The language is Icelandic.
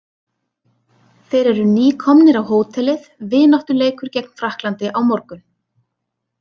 Þeir eru nýkomnir á hótelið, vináttuleikur gegn Frakklandi á morgun.